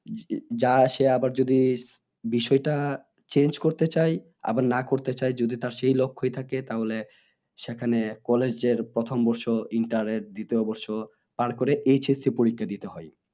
যা সে আবার যদি বিষয় টা change করতে চায় আবার না করতে চায় যদি তার সেই লক্ষ্যই থাকে তাহলে সেখানে college এর প্রথম বছর দিতে অবশ্য পার করে HSC পরীক্ষা দিতে হয়